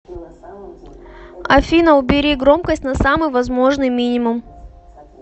афина убери громкость на самый возможный мининум